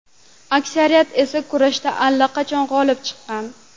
Aksariyati esa kurashda allaqachon g‘olib chiqqan.